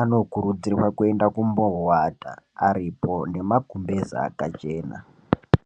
anokurudzirwa kuenda kumboowata aripo nemagumbeza akachena .